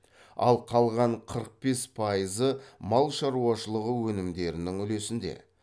ал қалған қырық бес пайызы мал шаруашылығы өнімдерінің үлесінде